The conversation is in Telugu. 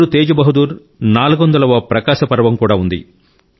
గురు తేజ్ బహదూర్ 400 వ ప్రకాశ పర్వం కూడా ఉంది